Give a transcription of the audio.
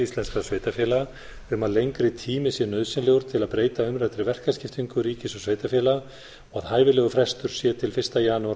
íslenskra sveitarfélaga um að lengri tími sé nauðsynlegur til að breyta umræddri verkaskiptingu ríkis og sveitarfélaga og hæfilegur frestur sé til fyrsta janúar